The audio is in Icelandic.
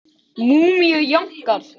Múmían jánkar.